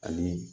Ani